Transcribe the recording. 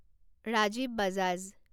Rajiv Bajaj